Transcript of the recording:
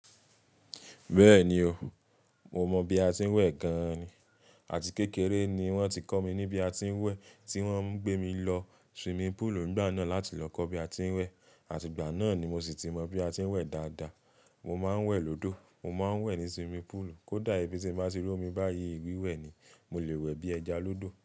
Bẹ́ẹ̀ni o, mo mọ bí a ti ń wẹ̀ gan ni. Àti kékeré ni wọ́n ti kọ́ mi ní bí a ti ń wẹ̀. Tí wọ́n ń gbé mi lọ swimming pool nígbà náà láti lọ kọ́ bí a ti ń wẹ̀. Àti ìgbà náà ni mo sì ti mọ bí a ti ń wẹ̀ dáadáa. Mo máa ń wẹ̀ lódó, mo máa ń wẹ̀ ní swimming pool. Kódà ibi tí n bá ti ró mi báyìí, wiwẹ̀ ni. Mo lè wẹ̀ bí ẹja lódò.